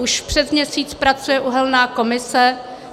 Už přes měsíc pracuje uhelná komise.